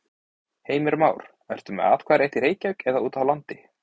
Heimir Már: Ertu með atkvæðarétt í Reykjavík eða út á landi?